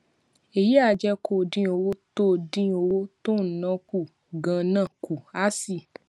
èyí á jé kó o dín owó tó dín owó tó ò ń ná kù ganan kù á sì